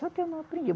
Só que eu não aprendi.